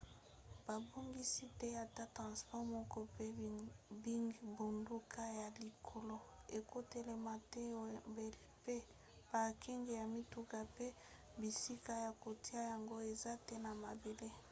babongisi te ata transport moko mpe bingbunduka ya likolo ekotelama te na wembley mpe parking ya mituka mpe bisika ya kotia yango eza te na mabele